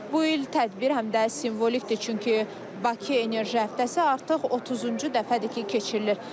Bu il tədbir həm də simvolikdir, çünki Bakı enerji həftəsi artıq 30-cu dəfədir ki, keçirilir.